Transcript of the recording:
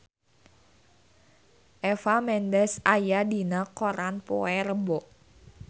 Eva Mendes aya dina koran poe Rebo